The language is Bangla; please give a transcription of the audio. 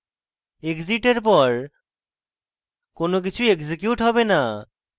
exit এর পর কোনো কিছু এক্সিকিউট হবে না